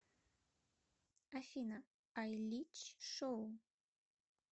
афина айлич шоу